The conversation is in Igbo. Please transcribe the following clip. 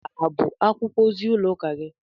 Nke a ọ bụ akwụkwọ ozi ụlọ ụka gị?